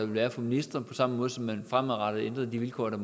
være for ministre på samme måde som man fremadrettet ændrede de vilkår der